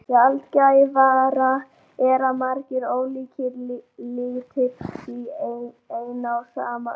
Sjaldgæfara er að margir ólíkir litir séu í eina og sama auganu.